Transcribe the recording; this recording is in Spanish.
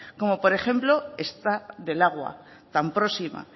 como por ejemplo esta del agua tan próxima